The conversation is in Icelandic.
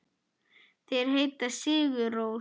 Þeir heita Sigur Rós.